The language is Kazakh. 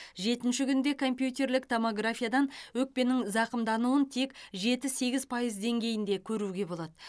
жетінші күнде компьютерлік томографиядан өкпенің зақымдануын тек жеті сегіз пайыз деңгейінде көруге болады